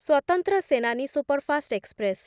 ସ୍ୱତନ୍ତ୍ର Senani superfast express